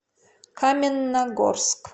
каменногорск